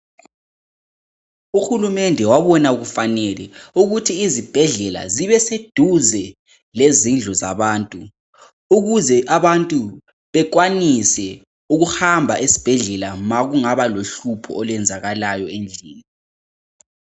Uhulumende wabona kufanele ukuthi izibhedlela zibe seduze lezindlu zabantu, ukuze abantu bekwanise ukuhamba esibhedlela ma kungabalo hlupho olwenzakalayo endlini.